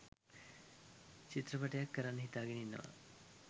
චිත්‍රපටයක් කරන්න හිතාගෙන ඉන්නවා.